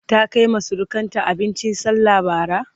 ta Kaima surukanta abincin sallah Bara?